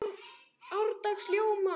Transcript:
árdags í ljóma